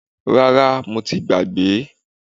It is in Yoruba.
Rárá, mo ti gbàgbé.